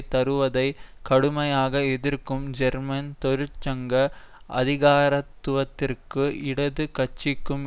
தருவதை கடுமையாக எதிர்க்கும் ஜெர்மன் தொழிற்சங்க அதிகாரத்துவத்திற்கும் இடது கட்சிக்கும்